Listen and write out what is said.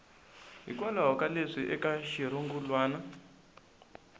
hikwalaho ka leswi eka xirungulwana